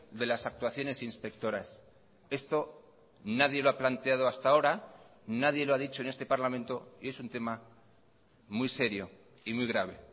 de las actuaciones inspectoras esto nadie lo ha planteado hasta ahora nadie lo ha dicho en este parlamento y es un tema muy serio y muy grave